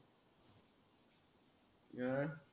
अं